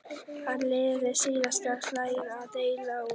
Hann leyfði síðasta slaginu að deyja út.